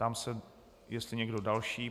Ptám se, jestli někdo další.